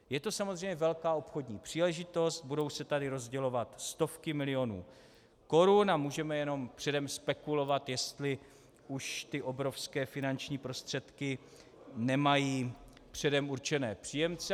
Je to samozřejmě velká obchodní příležitost, budou se tady rozdělovat stovky milionů korun a můžeme jenom předem spekulovat, jestli už ty obrovské finanční prostředky nemají předem určené příjemce.